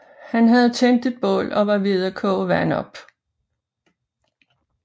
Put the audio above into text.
Han havde tændt et bål og var ved at koge vand op